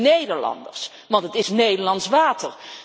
De Nederlanders, want het is Nederlands water.